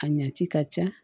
A ɲa ci ka ca